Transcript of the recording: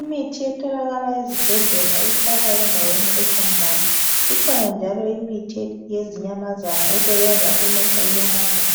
Imithi etholakala ezibhedlela ihlala endaweni eqandayo. Ikhona njalo imithi yezinyamazana esebenza ukulapha inyamazana,